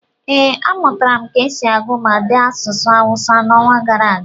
ee, amụtara m ka esi agụ ma dee asụsụ Awụsa n'ọnwa gara aga